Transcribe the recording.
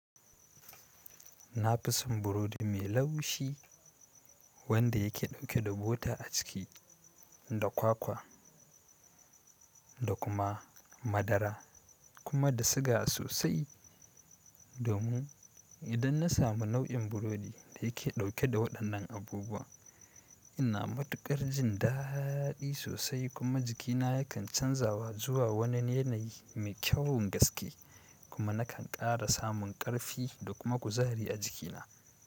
Na fi son burodi mai laushi wanda ya ke dauke da bota a ciki, da kwakwa da kuma madara kuma da siga sosai. Domin idan na samu nau'in burodi da yake dauke da waɗannan abubuwa, ina matuƙar jin daɗi sosai kuma jikina ya kan canzawa zuwa wani yanayi mai kyawun gaske kuma nakan ƙara samun ƙarfi da kuma kuzari a jikina.